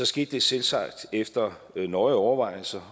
skete det selvsagt efter nøje overvejelser